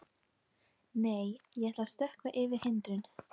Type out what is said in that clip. Nei, ég ætla að stökkva yfir hindrun.